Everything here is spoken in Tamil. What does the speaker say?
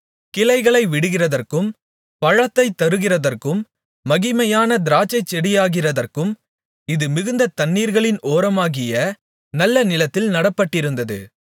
கிளைகளை விடுகிறதற்கும் பழத்தைத்தருகிறதற்கும் மகிமையான திராட்சைச்செடியாகிறதற்கும் இது மிகுந்த தண்ணீர்களின் ஓரமாகிய நல்ல நிலத்தில் நடப்பட்டிருந்தது